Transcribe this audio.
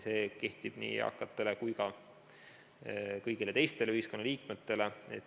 See kehtib nii eakate kui ka kõigi teiste ühiskonnaliikmete kohta.